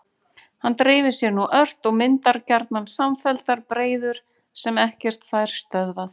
Hann dreifir sér nú ört og myndar gjarnan samfelldar breiður sem ekkert fær stöðvað.